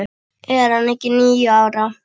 Er hann ekki níu ára?